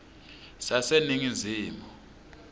saseningizimu